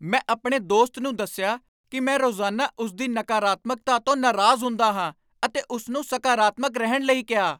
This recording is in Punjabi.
ਮੈਂ ਆਪਣੇ ਦੋਸਤ ਨੂੰ ਦੱਸਿਆ ਕਿ ਮੈਂ ਰੋਜ਼ਾਨਾ ਉਸ ਦੀ ਨਕਾਰਾਤਮਕਤਾ ਤੋਂ ਨਾਰਾਜ਼ ਹੁੰਦਾ ਹਾਂ ਅਤੇ ਉਸ ਨੂੰ ਸਕਾਰਾਤਮਕ ਰਹਿਣ ਲਈ ਕਿਹਾ।